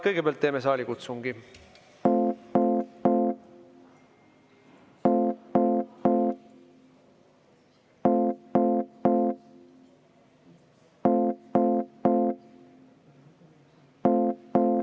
Kõigepealt teeme saalikutsungi.